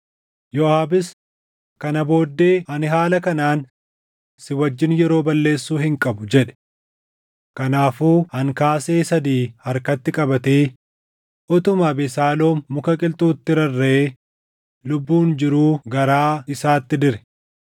Yooʼaabis, “Kana booddee ani haala kanaan si wajjin yeroo balleessuu hin qabu” jedhe. Kanaafuu ankaasee sadii harkatti qabatee utuma Abesaaloom muka qilxuutti rarraʼee lubbuun jiruu garaa isaatti dire.